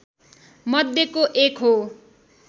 मध्यको एक हो